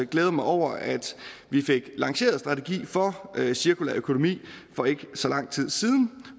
glæder mig over at vi fik lanceret en strategi for cirkulær økonomi for ikke så lang tid siden